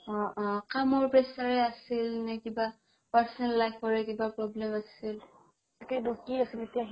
অ অ কামৰ pressure ৰে আছিল নে কিবা personal life ৰে কিবা problem আছিল